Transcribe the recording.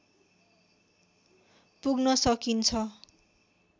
पुग्न सकिन्छ।